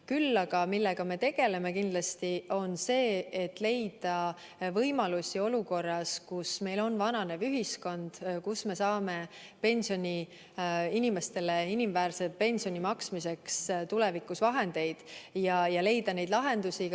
Küll aga me tegeleme kindlasti sellega, et leida võimalusi olukorras, kus meil on vananev ühiskond, kust me saame inimestele inimväärse pensioni maksmiseks tulevikus vahendeid, ja leida lahendusi.